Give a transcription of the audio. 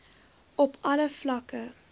op alle vlakke